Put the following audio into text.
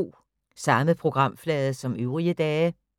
Samme programflade som øvrige dage